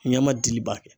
Ɲɛ ma dili ba kɛ